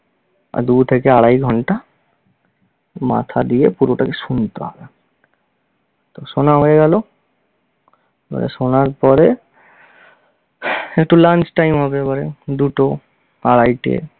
দু থেকে আড়াই ঘন্টা মাথা দিয়ে পুরোটাকে শুনতে হবে। তো শোনা হয়ে গেলো, মানে শোনার পরে একটু lunch time হবে এবারে, দুটো আড়াইটে।